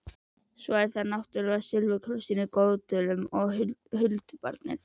Svo er það náttúrlega silfurkrossinn í Goðdölum og huldubarnið.